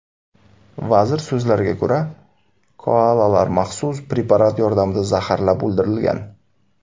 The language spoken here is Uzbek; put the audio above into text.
Vazir so‘zlariga ko‘ra, koalalar maxsus preparat yordamida zaharlab o‘ldirilgan.